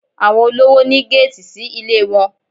Àwọn olówò ní géètì sí ilé wọn